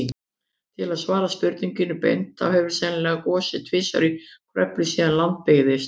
Til að svara spurningunni beint, þá hefur sennilega gosið tvisvar í Kröflu síðan land byggðist.